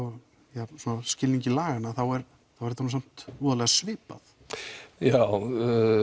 ja í skilningi laganna þá er þá er þetta nú samt voðalega svipað já